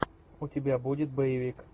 у тебя будет боевик